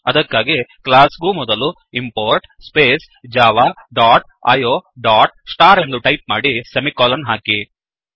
ಅದಕ್ಕಾಗಿ ಕ್ಲಾಸ್ ಗೂ ಮೊದಲು import space java dot io dot star ಎಂದು ಟೈಪ್ ಮಾಡಿ ಸೆಮಿಕೋಲನ್ ಹಾಕಿ